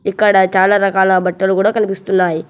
ఇక్కడ చాలా రకాల బట్టలు కూడా కనిపిస్తున్నాయి.